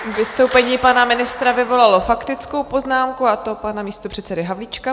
Vystoupení pana ministra vyvolalo faktickou poznámku, a to pana místopředsedy Havlíčka.